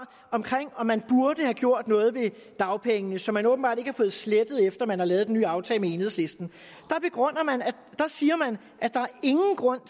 om om man burde have gjort noget ved dagpengene som man åbenbart ikke har fået slettet efter at man har lavet den nye aftale med enhedslisten der siger man at der ingen grund